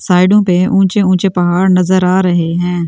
साइडो पे ऊचें-ऊचें पहाड़ नज़र आ रहे हैं।